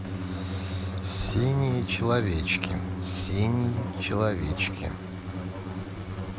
синие человечки синие человечки